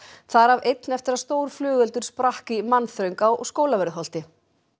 þar af einn eftir að stór flugeldur sprakk í mannþröng á Skólavörðuholti